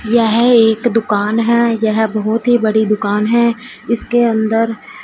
यह एक दुकान है यह बहुत ही बड़ी दुकान है इसके अंदर।